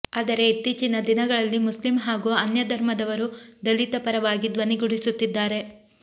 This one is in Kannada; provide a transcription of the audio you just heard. ಆದರೆ ಇತ್ತೀಚಿನ ದಿನಗಳಲ್ಲಿ ಮುಸ್ಲಿಮ್ ಹಾಗೂ ಅನ್ಯಧರ್ಮದವರು ದಲಿತ ಪರವಾಗಿ ಧ್ವನಿಗೂಡಿಸುತ್ತಿದ್ದಾರೆ